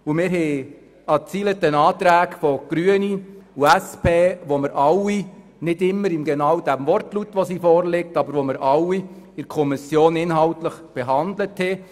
Es gibt eine Reihe Anträge von den Grünen und der SP, die wir alle – nicht immer genau im gleichen Wortlaut, wie sie jetzt vorliegen – in der Kommission inhaltlich behandelt haben.